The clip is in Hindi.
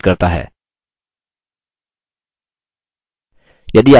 यह spoken tutorial project को सारांशित करता है